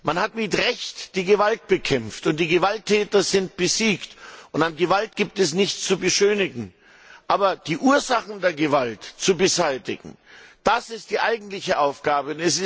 Man hat mit Recht die Gewalt bekämpft, die Gewalttäter sind besiegt, und an Gewalt gibt es nichts zu beschönigen. Die Ursachen der Gewalt zu beseitigen, das ist die eigentliche Aufgabe.